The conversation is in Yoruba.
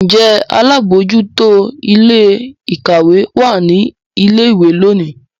Njé àlabòjuto Ilé-ìkàwé wá ní ilé ìwé lóni?